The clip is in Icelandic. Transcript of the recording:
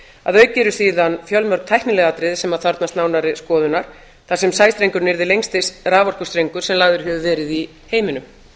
að auki eru síðan fjölmörg tæknileg atriði sem þarfnast nánari skoðunar þar sem sæstrengurinn yrði lengsti raforkustrengur sem lagður hefur verið í heiminum